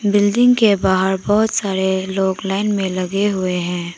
Building के बाहर बहुत सारे लोग लाइन में लगे हुए हैं।